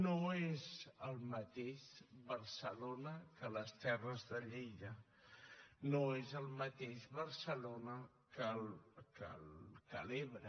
no és el mateix barcelona que les terres de lleida no és el mateix barcelona que l’ebre